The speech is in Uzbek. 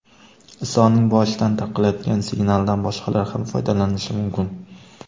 Isoning boshidan tarqalayotgan signaldan boshqalar ham foydalanishi mumkin.